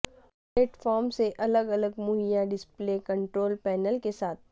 plate form سے الگ الگ مہیا ڈسپلے کنٹرول پینل کے ساتھ